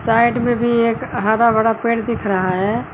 Side में भी एक हरा भरा पेड़ दिख रहा है।